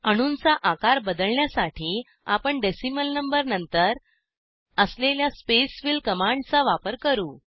अणूंचा आकार बदलण्यासाठी आपण डेसिमल नंबरानंतर असलेल्या स्पेसफिल कमांडचा वापर करू